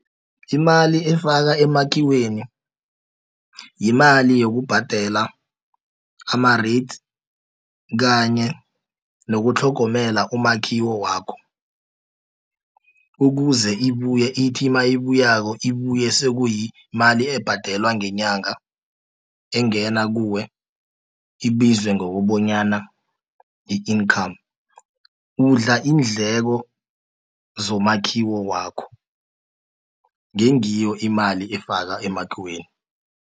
Imali efaka emakhiweni, yimali yokubhadela ama-rates, kanye nokutlhogomela umakhiwo wakho, ukuze ibuye ithimabuyako, ibuye sekuyimali ebhadelwa ngenyanga engena kuwe, ibizwe ngokobonyana yi-income, udla iindleko zomakhiwo wakho, ngengiyo imali efakwa emakhiweni.